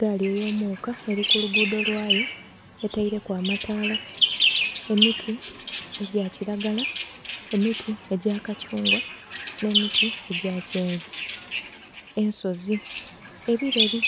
Gaali eyo muuka eri ku lugudho lwayo etaireku amataala, emiti egya kilagala, emiti egya kathungwa nhe emiti egya kyenvu, ensozi ebireri